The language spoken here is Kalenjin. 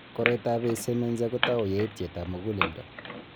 Koriotoab Eisenmenger kotau yaitietab muguleldo.